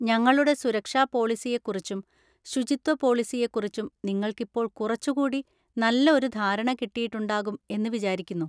ഞങ്ങളുടെ സുരക്ഷാ പോളിസിയെ കുറിച്ചും ശുചിത്വ പോളിസിയെ കുറിച്ചും നിങ്ങൾക്കിപ്പോൾ കുറച്ചുകൂടി നല്ല ഒരു ധാരണ കിട്ടിയിട്ടുണ്ടാകും എന്ന് വിചാരിക്കുന്നു.